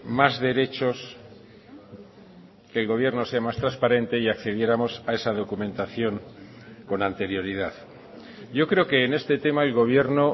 más derechos que el gobierno sea más transparente y accediéramos a esa documentación con anterioridad yo creo que en este tema el gobierno